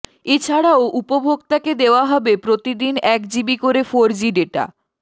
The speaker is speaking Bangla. এছাড়াও উপভোক্তাকে দেওয়া হবে প্রতিদিন একজিবি করে ফোর জি ডেটা